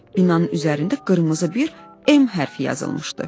Binanın üzərində qırmızı bir M hərfi yazılmışdı.